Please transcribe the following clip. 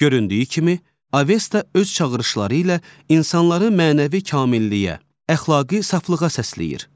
Göründüyü kimi, Avesta öz çağırışları ilə insanları mənəvi kamilliyə, əxlaqi saflığa səsləyir.